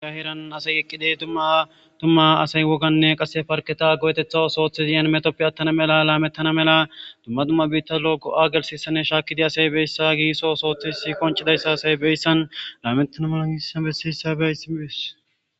Hayssa misileza bolla taasi beetizay aaze gizayssa giddiko woykko xeelishin dizayssi ta heeran asay eqqidi dumma dumma lo'iza miishata gidoyssi qoncce gididi dizayssa besees.